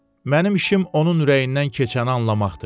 Mənim işim onun ürəyindən keçəni anlamaqdır.